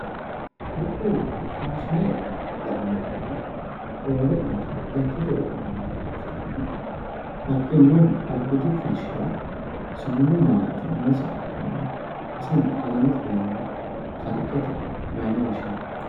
kuriuu faashine lainohunni roore yanna lekkate qodhinannire ikkitana baxxinohu albiidi kolishshirannohu sumudu malaati noosiha ikkanna isono alamete deerrinni kalqete mayiine woshshianni?